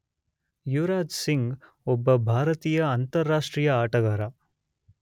ಯುವರಾಜ್ ಸಿಂಗ್ಯುವರಾಜ್ ಸಿಂಗ್ ಒಬ್ಬ ಭಾರತೀಯ ಅಂತಾರಾಷ್ಟ್ರೀಯ ಆಟಗಾರ.